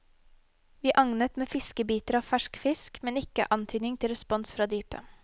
Vi agnet med fiskebiter av fersk fisk, men ikke antydning til respons fra dypet.